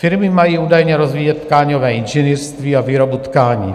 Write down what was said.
Firmy mají údajně rozvíjet tkáňové inženýrství a výrobu tkání.